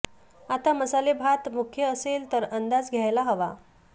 आता मसालेभात मुख्य असेल तर अंदाज घ्यायला हवा